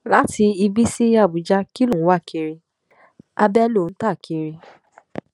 láti ibí sí àbújá kí ló ń wá kiri abẹ ló ń ta kiri